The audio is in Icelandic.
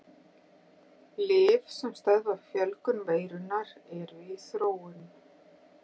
Lyf sem stöðva fjölgun veirunnar eru í þróun.